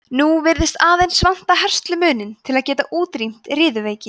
nú virðist aðeins vanta herslumuninn til að geta útrýmt riðuveiki